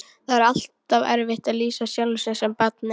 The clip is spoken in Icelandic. Það er alltaf erfitt að lýsa sjálfum sér sem barni.